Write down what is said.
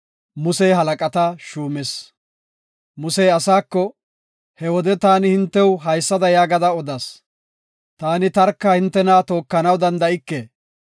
Musey asaako, “He wode taani hintew haysada yaagada odas; taani tarka hintena tookanaw danda7ike.